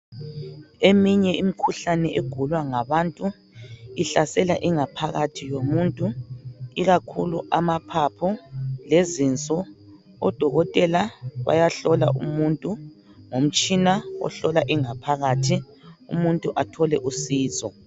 Eminye imikhuhlane egulwa ngabantu ihlasela ingaphakathi yomuntu ikakhulu amaphapho lezinso. Odokotela bayahlola umuntu ngomtshina ohlola ingaphakathi umuntu athole usizo.